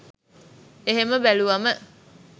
එහෙම බැලුවම